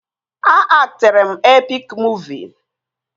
A aktịrị m epik muuvi